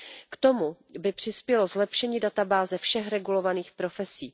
K tomu by přispělo zlepšení databáze všech regulovaných profesí.